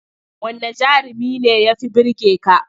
Wanne jarumi ne ya fi burge ka?